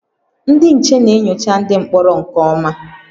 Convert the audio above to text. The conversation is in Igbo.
Ndị nche na-enyocha ndị mkpọrọ nke ọma